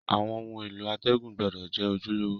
Àwon oun èló àtègùn gbúdò je ojúlówó